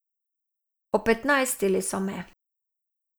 Opetnajstili so me.